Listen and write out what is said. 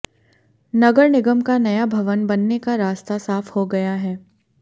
नगर निगम का नया भवन बनने का रास्ता साफ हो गया है